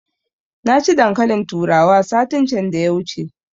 Na ci dankalin turawa satin can da ya wuce